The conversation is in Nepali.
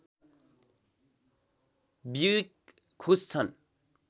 ब्युइक खुस छन्